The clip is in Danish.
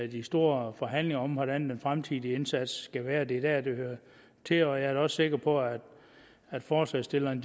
de store forhandlinger om hvordan den fremtidige indsats skal være for det er dér det hører til og jeg er da også sikker på at forslagsstillerne